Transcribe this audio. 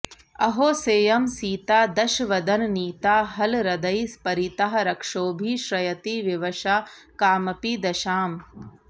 अहो सेयं सीता दशवदननीता हलरदैः परीता रक्षोभिः श्रयति विवशा कामपि दशाम्